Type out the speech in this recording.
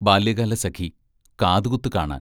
ബാല്യകാലസഖി കാതുകുത്തു കാണാൻ.